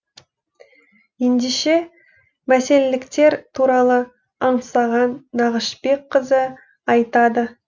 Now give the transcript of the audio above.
ендеше мәселеліктер туралы аңсаған нағашыбекқызы айтады